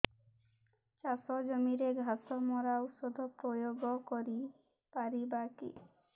ଚାଷ ଜମିରେ ଘାସ ମରା ଔଷଧ ପ୍ରୟୋଗ କରି ପାରିବା କି